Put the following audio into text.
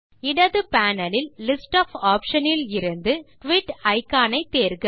இடது பேனல் இல் list of option இலிருந்து குயிட் இக்கான் ஐ தேர்க